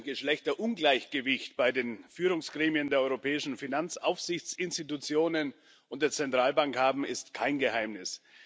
Dass wir ein Geschlechterungleichgewicht bei den Führungsgremien der europäischen Finanzaufsichtsinstitutionen und der Zentralbank haben, ist kein Geheimnis.